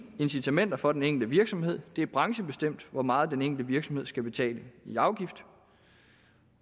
incitamenter for den enkelte virksomhed det er branchebestemt hvor meget den enkelte virksomhed skal betale i afgift